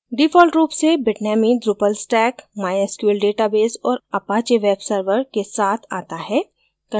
default रूप से bitnami drupal stack mysql database और apache web server के साथ आता है